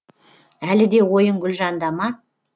әлі де ойың гүлжанда ма